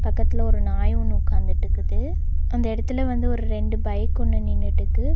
பக்கத்துல ஒரு நாய் ஒன்னு உக்காந்துட்டுக்குது அந்த எடத்துல வந்து ஒரு ரெண்டு பைக் ஒன்னு நின்னுடுக்கு.